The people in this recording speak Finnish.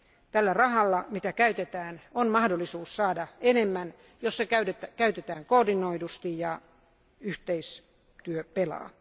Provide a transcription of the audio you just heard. Tällä rahalla, jota käytetään, on mahdollisuus saada enemmän, jos se käytetään koordinoidusti ja yhteistyö pelaa.